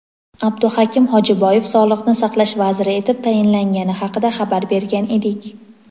Abduhakim Hojiboyev Sog‘liqni saqlash vaziri etib tayinlangani haqida xabar bergan edik.